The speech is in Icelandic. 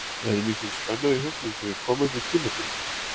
Er mikil spenna í hópnum fyrir komandi tímabili?